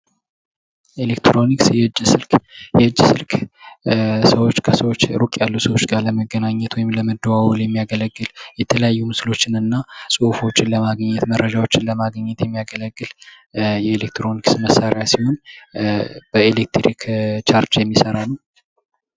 ኤሌክትሮኒክስ የእጅ ስልክ፦ የእጅ ስልክ ሩቅ ያሉ ሰዎች ጋር ለመገናኘት ወይም ለመደዋወል የሚያገለግል የተለያዩ ጹሁፎችን እና ፎቶዎችን ለማግኘት የሚያገለግል የኤሌክትሮኒክስ መሳሪያ ሲሆን በኤሌክትሪክ ቻርጅ የሚሰራ ነው።